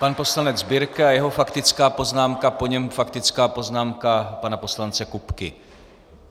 Pan poslanec Birke a jeho faktická poznámka, po něm faktická poznámka pana poslance Kupky.